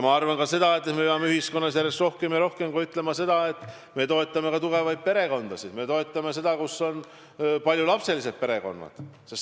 Ma arvan ka seda, et me peame ühiskonnas järjest rohkem ja rohkem võitlema selle eest, et toetada ka tugevaid perekondasid, paljulapselisi perekondasid.